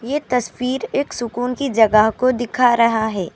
یہ تصویر ایک سکون کی جگہ کو دکھا رہا ہے.